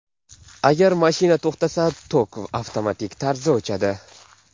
Agar mashina to‘xtasa, tok avtomatik tarzda o‘chadi.